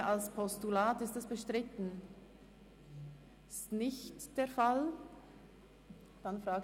Eine Möglichkeit ist auch, die geplante Einführung einer zusätzlichen Verbindung zwischen Burgdorf und Bern bis nach Langenthal zu verlängern.